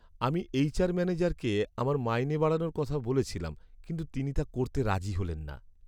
আমি এইচআর ম্যানেজারকে আমার মাইনে বাড়ানোর কথা বলেছিলাম কিন্তু তিনি তা করতে রাজি হলেন না।